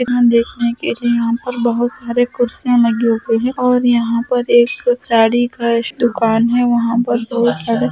यहाँ देखने के लिए यहां पर बहुत सारे कुर्सियां लगी हुई है और यहाँ पर एक दुकान है वहां पर बहुत सारे --